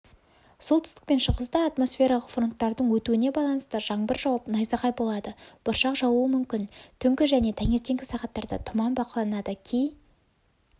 солтүстік пен шығыста атмосфералық фронттардың өтуіне байланысты жаңбыр жауып найзағай болады бұршақ жаууы мүмкін түнгі және таңертеңгі сағаттарда тұман бақыланады кей